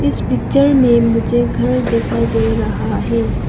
इस पिक्चर में मुझे घर दिखाई दे रहा है।